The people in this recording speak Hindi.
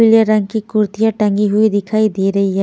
पीले रंग की कुर्तियां टंगी हुई दिखाई दे रही हैं।